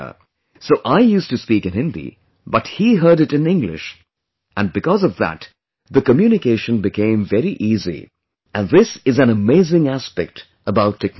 So I used to speak in Hindi but he heard it in English and because of that the communication became very easy and this is an amazing aspect about technology